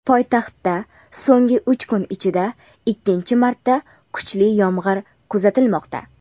Poytaxtda so‘nggi uch kun ichida ikkinchi marta kuchli yomg‘ir kuzatilmoqda.